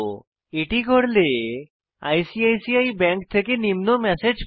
এটি করলে আইসিআইসিআই ব্যাঙ্ক থেকে নিম্ন ম্যাসেজ পাই